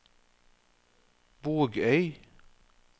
Bogøy